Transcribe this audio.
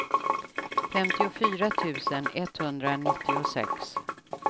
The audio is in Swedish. femtiofyra tusen etthundranittiosex